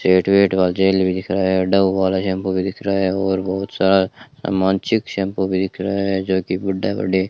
set Wet का जेल भी दिख रहा है और डव वाला शैंपू भी दिख रहा है और बहुत सारा सामान चिक शैंपू भी दिख रहा है जो कि गुड्डा-गुड्डी --